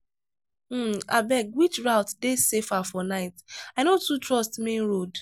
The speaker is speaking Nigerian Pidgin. um abeg which route dey safer for night? i no too trust main road.